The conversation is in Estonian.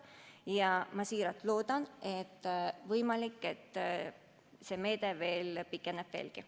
Ja ma väga loodan, et see meede võimaluse korral pikeneb veelgi.